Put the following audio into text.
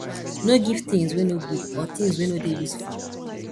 no give things wey no good or things wey no dey useful